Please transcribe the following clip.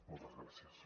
moltes gràcies